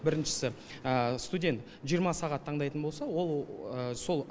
біріншісі студент жиырма сағат таңдайтын болса ол сол